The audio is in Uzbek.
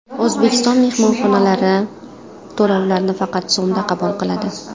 O‘zbekiston mehmonxonalari to‘lovlarni faqat so‘mda qabul qiladi .